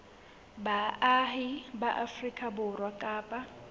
baahi ba afrika borwa kapa